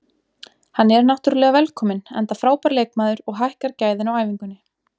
Hann er náttúrulega velkominn enda frábær leikmaður og hækkar gæðin á æfingunni.